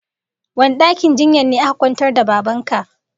Wane dakin jinya ne aka kwantar da Baban ka?